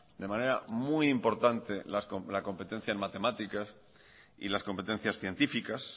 de manera muy importante la competencia en matemáticas y las competencias científicas